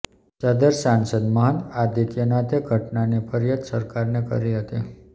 સદર સાંસદ મહંત આદિત્યનાથે ઘટનાની ફરિયાદ સરકારને કરી હતી